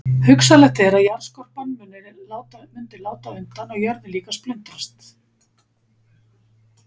Hugsanlegt er að jarðskorpan mundi láta undan og jörðin líka splundrast.